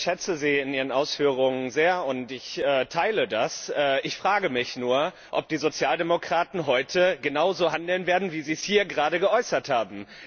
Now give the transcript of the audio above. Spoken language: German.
Ich schätze Sie in Ihren Ausführungen sehr, und ich teile das. Ich frage mich nur, ob die Sozialdemokraten heute genauso handeln werden, wie Sie es hier gerade geäußert haben.